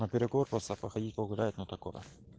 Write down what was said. на перекур просто походить погулять ну такое